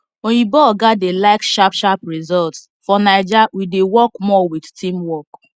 oyinbo oga dey like sharp sharp results for naija we dey work more with teamwork